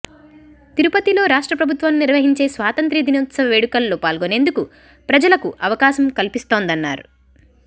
తిరుపతిలో రాష్ట్ర ప్రభుత్వం నిర్వహించే స్వాతంత్య్ర దినోత్సవ వేడుకల్లో పాల్గొనేందుకు ప్రజలకు అవకాశం కల్పిస్తోందన్నారు